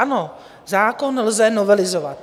Ano, zákon lze novelizovat.